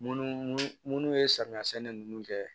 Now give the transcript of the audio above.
Munnu munnu ye samiya sɛnɛ nunnu kɛ